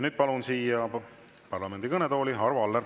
Nüüd palun siia parlamendi kõnetooli Arvo Alleri.